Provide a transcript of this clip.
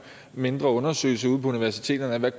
mindre undersøgelse ude på universiteterne af hvad